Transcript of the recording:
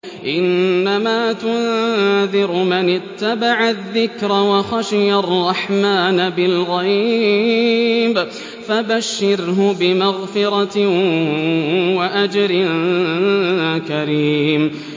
إِنَّمَا تُنذِرُ مَنِ اتَّبَعَ الذِّكْرَ وَخَشِيَ الرَّحْمَٰنَ بِالْغَيْبِ ۖ فَبَشِّرْهُ بِمَغْفِرَةٍ وَأَجْرٍ كَرِيمٍ